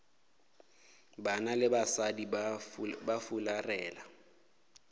banna le basadi ba fularela